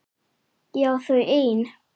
Ég á þau ein.